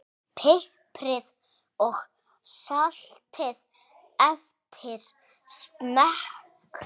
Piprið og saltið eftir smekk.